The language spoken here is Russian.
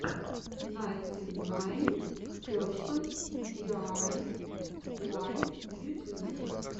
найнтинайнперсент диайуай в ютюбе